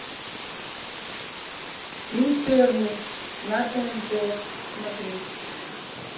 интерны на тнт смотреть